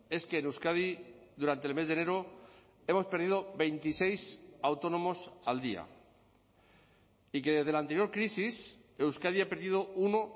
es que en euskadi durante el mes de enero hemos perdido veintiséis autónomos al día y que desde la anterior crisis euskadi ha perdido uno